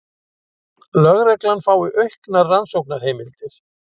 Lögregla fái auknar rannsóknarheimildir